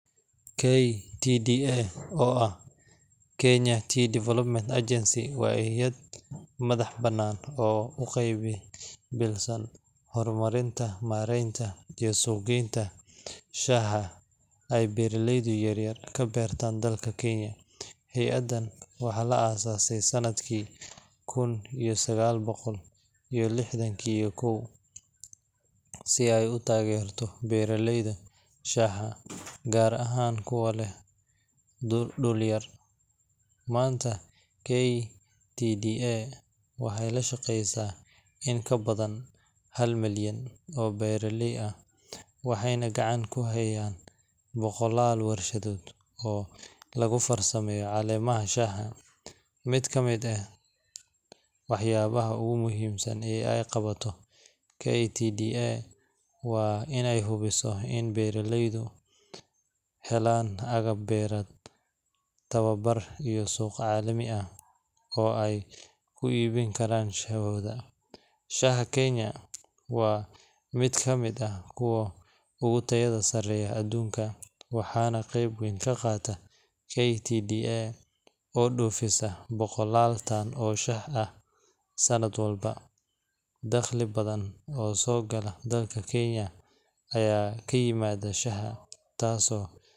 KTDA, oo ah Kenya Tea Development Agency, waa hay’ad madax-bannaan oo u qaabilsan horumarinta, maaraynta, iyo suuq-geynta shaaha ay beeraleyda yaryar ka beertaan dalka Kenya. Hay’addan waxaa la aas-aasay sanadkii lix kun iyo sagaal boqol iyo lixdan iyo kow si ay u taageerto beeraleyda shaaha, gaar ahaan kuwa leh dhul yar. Maanta, KTDA waxay la shaqaysaa in ka badan hal milyan oo beeraley ah, waxayna gacanta ku hayaan boqolaal warshadood oo lagu farsameeyo caleemaha shaaha. Mid ka mid ah waxyaabaha ugu muhiimsan ee ay qabato KTDA waa inay hubiso in beeraleydu helaan agab beereed, tababar, iyo suuq caalami ah oo ay ku iibin karaan shaahooda. Shaaha Kenya waa mid ka mid ah kuwa ugu tayada sarreeya adduunka, waxaana qayb weyn ka qaata KTDA oo dhoofisa boqolaal tan oo shaah ah sanad walba. Dakhli badan oo soo gala dalka Kenya ayaa ka yimaada shaaha, taaso.